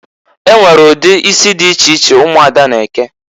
E nwere ụdị isi dị iche iche ụmụada Igbo na-eke.